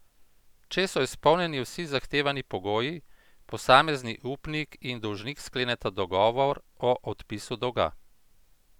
Če so izpolnjeni vsi zahtevani pogoji, posamezni upnik in dolžnik skleneta dogovor o odpisu dolga.